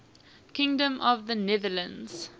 kingdom of the netherlands